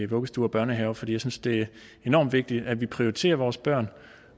vuggestuer og børnehaver fordi jeg synes det er enormt vigtigt at vi prioriterer vores børn